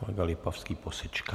Kolega Lipavský posečká.